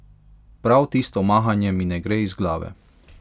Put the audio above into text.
Prav tisto mahanje mi ne gre iz glave.